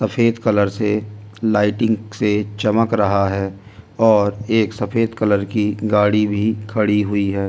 सफेद कलर से लाइटिंग से चमक रहा है और एक सफेद कलर की गाड़ी भी खड़ी हुई है ।